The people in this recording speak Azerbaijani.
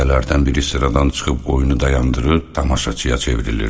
Dəstələrdən biri sıradan çıxıb oyunu dayandırır, tamaşaçıya çevrilirdi.